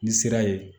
Ni sira ye